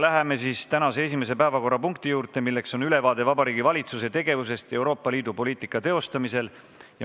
Läheme tänase esimese päevakorrapunkti juurde, see on ülevaade Vabariigi Valitsuse tegevusest Euroopa Liidu poliitika teostamisel.